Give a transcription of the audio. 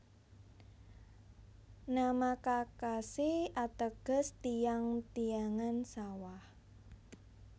Nama Kakashi ateges tiyang tiyangan sawah